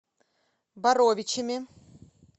боровичами